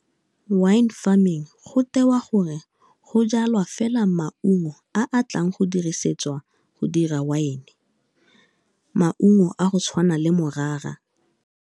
Wine farming, go tewa gore go jalwa fela maungo a a tlang go dirisetswa go dira Wine, maungo a go tshwanang le morara.